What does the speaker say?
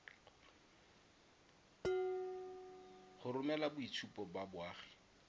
go romela boitshupo ba boagi